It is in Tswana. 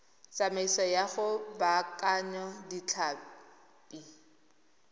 tsamaiso ya go baakanya ditlhapi